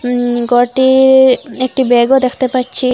উম কটি একটি ব্যাগও দেখতে পাচ্ছি।